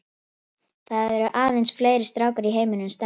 Það eru aðeins fleiri stákar í heiminum en stelpur.